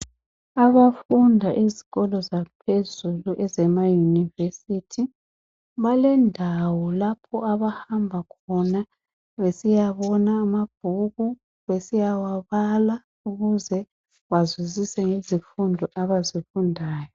Abafunda ezikolo zaphezulu ezema University balendawo lapho abahamba khona besiyabona amabhuku besiyawabala ukuze bazwisise izifundo abazifundayo.